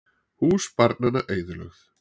Hús barnanna eyðilögð